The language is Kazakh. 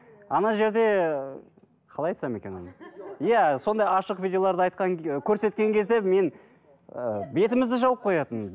ана жерде қалай айтсам екен оны иә сондай ашық видеоларды айтқан көрсеткен кезде мен ііі бетімізді жауып қоятын